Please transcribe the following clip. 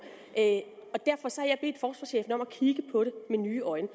at kigge på det med nye øjne